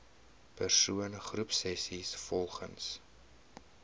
persoon groepsessies volgens